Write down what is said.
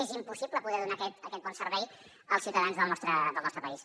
és impossible poder donar aquest bon servei als ciutadans del nostre país